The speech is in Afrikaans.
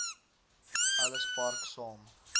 ellis park saam